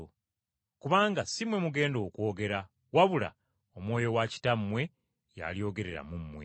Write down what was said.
Kubanga si mmwe mugenda okwogera wabula Omwoyo wa Kitammwe y’alyogerera mu mmwe!